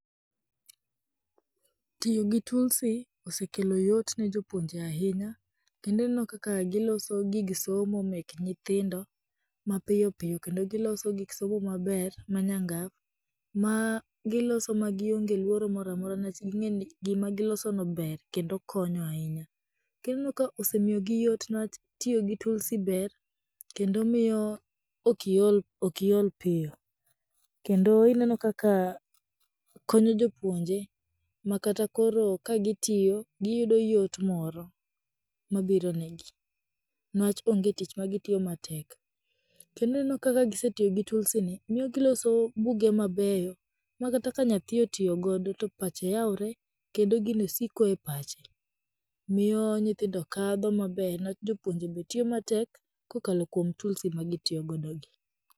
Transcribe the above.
Tiyo gi tulsi osekelo yot ne jopuonje ahinya, kendo ineno kaka giloso gige somo mek nyithindo mapiyopiyo kendo giloso gik somo maber, manyangaf, ma giloso ma gionge luoro moramora niwach ging'eni gimagiloso no ber kendo konyo ahinya, to ineno ka osemiyo gi yot niwach, tiyo gi tulsi ber kendo miyo okiolokiol piyo, kendo ineno kaka konyo jopuonje ma kata koro ka gitiyo, giyudo yot moro mabiro negi, niwach onge tich ma gitiyo matek, to ineno kaka gisetiyo gi tulsi ni miyo giloso buge mabeyop ma kata ka nyathi otiyogo do to pache yawre kendo gino siko e pache, miyo nyithindo kadho maber niwach jopuonje be tiyo matek, kokalo kwom tulsi ma gitiiyogodo gi.